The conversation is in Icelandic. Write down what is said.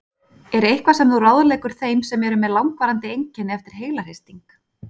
Er eitthvað sem þú ráðleggur þeim sem eru með langvarandi einkenni eftir heilahristing?